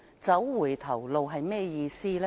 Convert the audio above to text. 走回頭路是甚麼意思呢？